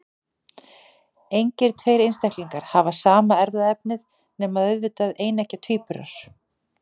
Engir tveir einstaklingar hafa sama erfðaefni, nema auðvitað eineggja tvíburar.